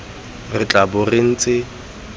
re tla bong re ntse